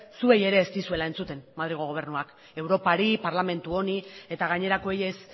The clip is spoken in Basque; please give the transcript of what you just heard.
zuei ere ez dizuela entzuten madrilgo gobernuak europari parlamentu honi eta gainerakoei ez